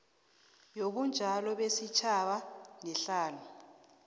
yobunjalo besitjhaba nehlalo